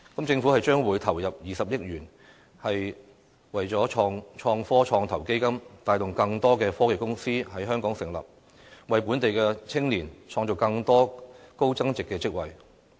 政府將會投入20億元在創科創投基金，帶動更多科技公司在香港成立，為本地青年創造更多高增值的職位。